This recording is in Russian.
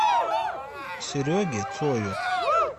сереге цою